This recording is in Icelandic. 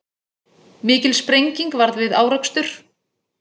Mikil sprenging varð við árekstur